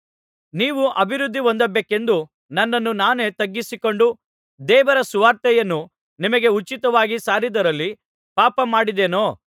ನೀವು ಅಭಿವೃದ್ಧಿಹೊಂದಬೇಕೆಂದು ನನ್ನನ್ನು ನಾನೇ ತಗ್ಗಿಸಿಕೊಂಡು ದೇವರ ಸುವಾರ್ತೆಯನ್ನು ನಿಮಗೆ ಉಚಿತವಾಗಿ ಸಾರಿದರಲ್ಲಿ ಪಾಪಮಾಡಿದ್ದೇನೋ